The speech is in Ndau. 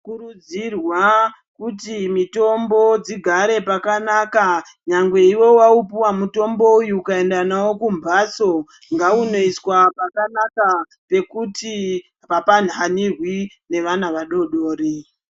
Kurudzirwa kuti mitombo dzigare pakanaka, nyangwe iwe waupuwa mutombo uyu ukaenda nawo kumbatso ngaunoiswa pakanaka pekuti hapa hanirwi nevana vadodori.